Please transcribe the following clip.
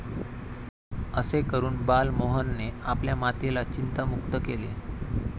असे करून बाल मोहनने आपल्या मातेला चिंता मुक्त केले.